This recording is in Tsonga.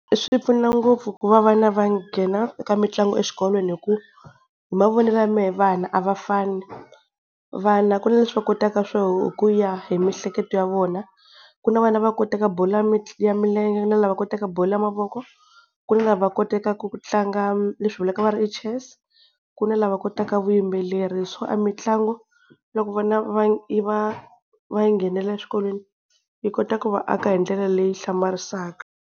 Swi pfuna ngopfu ku va vana va nghena eka mitlangu exikolweni, hi ku hi mavonelo ya me vana a va fani. Vana ku na leswi va kotaka swo ku ya hi miehleketo ya vona, ku na vana va kotaka bolo ya ya milenge na lava kotaka bolo ya mavoko ku na lava kotaka ku tlanga leswi vulaka va ri i chess ku na lava kotaka vuyimbeleri so a mitlangu loko vana va yi va va yi nghenela eswikolweni yi kota ku va aka hi ndlela leyi hlamarisaka.